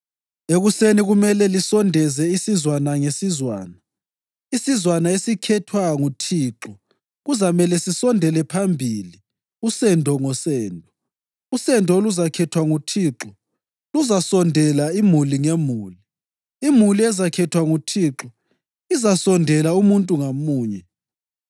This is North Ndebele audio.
Ekuseni kumele lisondeze isizwana ngesizwana. Isizwana esikhethwa nguThixo kuzamele sisondele phambili usendo ngosendo; usendo oluzakhethwa nguThixo luzasondela imuli ngemuli; imuli ezakhethwa nguThixo izasondela umuntu ngamunye.